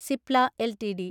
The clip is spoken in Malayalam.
സിപ്ല എൽടിഡി